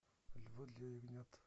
львы для ягнят